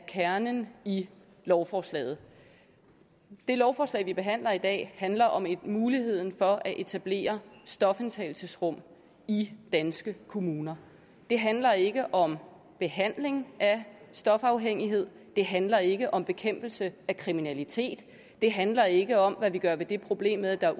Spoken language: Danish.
kernen i lovforslaget det lovforslag vi behandler i dag handler om muligheden for at etablere stofindtagelsesrum i danske kommuner det handler ikke om behandling af stofafhængighed det handler ikke om bekæmpelse af kriminalitet det handler ikke om hvad vi gør ved det problem at der er